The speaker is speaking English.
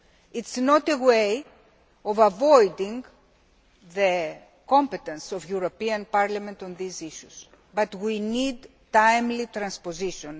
It is not a way of avoiding the competence of the European Parliament on these issues, but we need timely transposition.